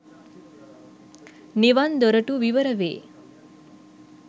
නිවන් දොරටු විවරවේ.